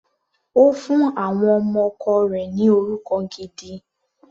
Ó fún àwọn ọmọ ọkọ rẹ̀ ni orúkọ gidi.